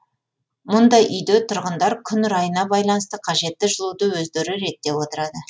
мұндай үйде тұрғындар күн райына байланысты қажетті жылуды өздері реттеп отырады